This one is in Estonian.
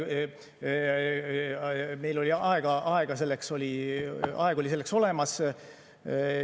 Meil oli aeg selleks olemas.